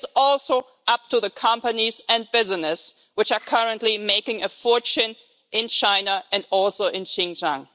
It is also up to the companies and businesses which are currently making a fortune in China and also in Xinjiang.